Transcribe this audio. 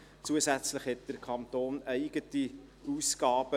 Zusätzlich hat der Kanton eigene Ausgaben.